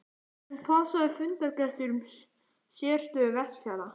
En hvað sögðu fundargestir um sérstöðu Vestfjarða?